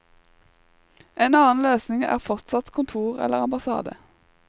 En annen løsning er fortsatt kontor eller ambassade.